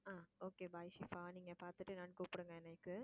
ஆஹ் okay bye ஷிபா நீங்க பார்த்துட்டு நான் கூப்பிடுங்க எனக்கு